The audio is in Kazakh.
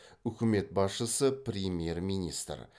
үкімет басшысы премьер министр